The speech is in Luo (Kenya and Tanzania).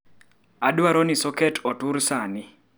Adwaro ni soket otur sani